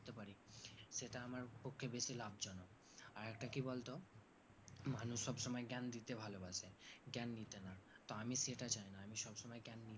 সেটা আমার পক্ষে বেশি লাভজনক আরেকটা কি বলতো মানুষ সব সময় জ্ঞান দিতে ভালোবাসে জ্ঞান নিতে না আমি সেটার জন্য আমি সবসময় জ্ঞান নি